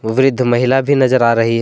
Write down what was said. वृद्ध महिला भी नजर आ रही है।